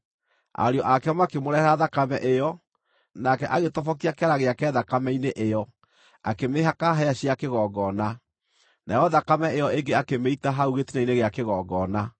Ariũ ake makĩmũrehere thakame ĩyo, nake agĩtobokia kĩara gĩake thakame-inĩ ĩyo, akĩmĩhaka hĩa cia kĩgongona; nayo thakame ĩyo ĩngĩ akĩmĩita hau gĩtina-inĩ gĩa kĩgongona.